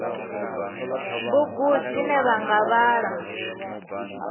bugu dzine vha nga vhala